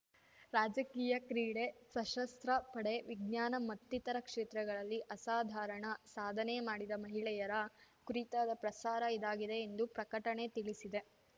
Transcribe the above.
ರಾಜಕೀಯ ಕ್ರೀಡೆ ಸಶಸ್ರ ಪಡೆ ವಿಜ್ಞಾನ ಮತ್ತಿತರ ಕ್ಷೇತ್ರಗಳಲ್ಲಿ ಅಸಾಧಾರಣ ಸಾಧನೆ ಮಾಡಿದ ಮಹಿಳೆಯರ ಕುರಿತಾದ ಪ್ರಸಾರ ಇದಾಗಿದೆ ಎಂದು ಪ್ರಕಟಣೆ ತಿಳಿಸಿದೆ